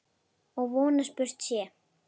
Og von að spurt sé.